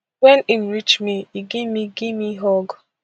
wen im reach me e give me give me hug